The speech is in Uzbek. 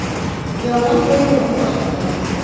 Yong‘in treylerda boshlangan.